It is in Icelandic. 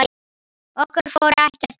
Okkar fór ekkert í milli.